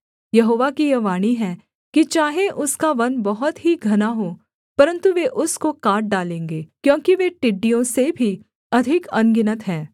यहोवा की यह वाणी है कि चाहे उसका वन बहुत ही घना हो परन्तु वे उसको काट डालेंगे क्योंकि वे टिड्डियों से भी अधिक अनगिनत हैं